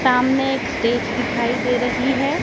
सामने एक स्टेज दिखाई दे रही है।